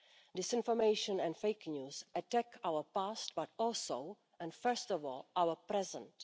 Disinformation and fake news attack our past but also, and first of all, our present.